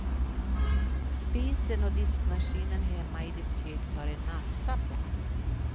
Spisen och diskmaskinen hemma i ditt kök tar en massa plats.